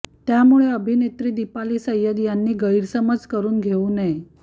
त्यामुळे अभिनेत्री दीपाली सय्यद यांनी गैरसमज करून घेऊ नये